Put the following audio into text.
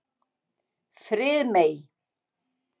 Friðmey